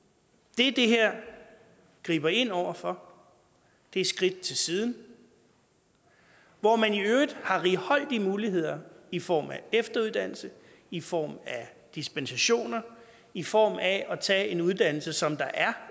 det det her griber ind over for er skridt til siden hvor man i øvrigt har righoldige muligheder i form af efteruddannelse i form af dispensationer i form af at tage en uddannelse som der er